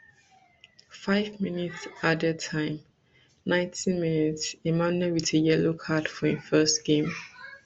five mins added time ninety mins emmanuel wit a yellow card for im first game